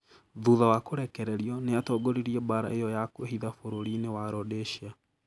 Thutha wa kũrekererio, nĩ atongoririe mbaara ĩyo ya kũĩhitha bũrũri-inĩ wa Rhodesia.